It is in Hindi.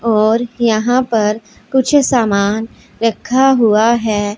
और यहां पर कुछ समान रखा हुआ है।